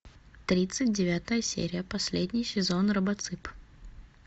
тридцать девятая серия последний сезон робоцып